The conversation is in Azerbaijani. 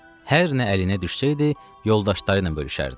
Hər nə əlinə düşsəydi, yoldaşları ilə bölüşərdi.